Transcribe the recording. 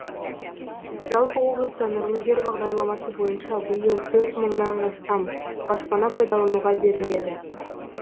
жалпы облыста нұрлы жер бағдарламасы бойынша биыл төрт мыңнан астам баспана пайдалануға беріледі